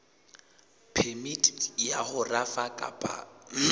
phemiti ya ho rafa kapa